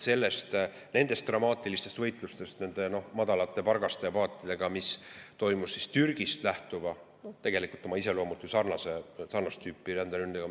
dramaatilisest võitlusest nende madalate pargaste ja paatidega, mis on toimunud Türgist lähtuva ja oma iseloomult sarnast tüüpi ränderünde korral.